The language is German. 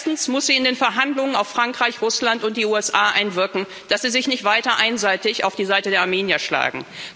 Erstens muss sie in den Verhandlungen auf Frankreich, Russland und die USA einwirken, dass sie sich nicht weiter einseitig auf die Seite der Armenier schlagen.